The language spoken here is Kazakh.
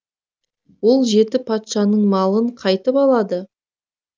ол жеті патшаның малын қайтіп алады